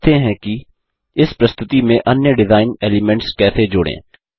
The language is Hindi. अब सीखते हैं कि इस प्रस्तुति में अन्य डिजाइन एलिमेन्ट्स कैसे जोड़ें